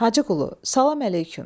Hacı Qulu, salam əleyküm.